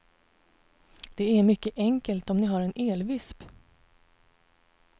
Det är mycket enkelt om ni har en elvisp.